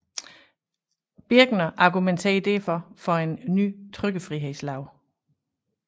Birckner argumenterer derfor for en ny trykkefrihedslov